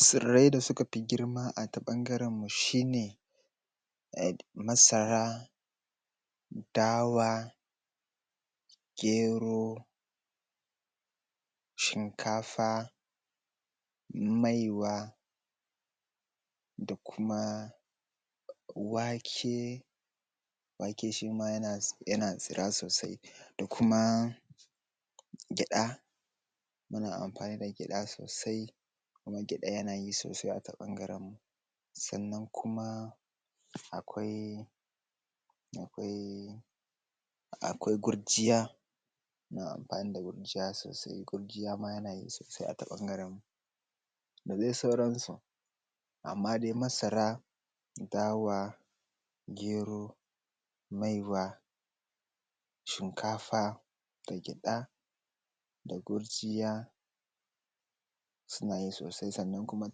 Tsirrai da suka fi girma a ta ɓangarenmu shi ne um masara, dawa, gero, shinkafa, maiwa, da kuma wake. Wake shi ma yana tsira sosai da kuma gyaɗa, muna amfani da gyada sosai kuma gyada yanayi sosai ata ɓangarenmu, sannan kuma akwai um gurjiya muna anɸani da gurjiya sosai ata ɓangarenmu dadai sauransu amma dai masara dawa, gero, maiwa, shinkafa da gyaɗa da gurjiya suna yi sosai sannan kuma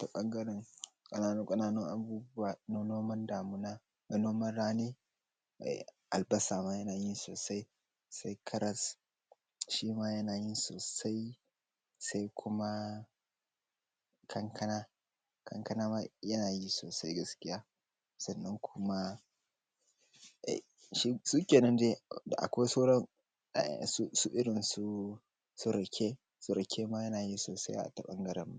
ta bangaren ƙananu-ƙananun abubuwa na noman damuna noman rani albasa ma yana yi sosai sai karas shi ma yana yi sosai sai kuma kankana, kankana ma yana yi sosai gaskiya sannan kuma suke nan dai akwai sauran su irun su rake, rake ma yana yi sosai ata ɓangarenmu